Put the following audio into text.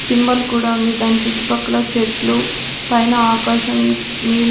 symbol కూడా ఉంది దాని చుట్టుపక్కల చెట్లు పైన ఆకాశం నీలి--